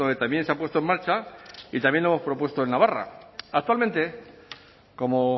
también se ha puesto en marcha y también lo hemos propuesto en navarra actualmente como